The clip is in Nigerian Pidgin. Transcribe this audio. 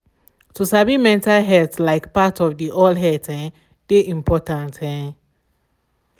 to sabi mental health like part of de all health um de important. um